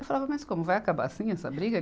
Eu falava, mas como vai acabar assim essa briga?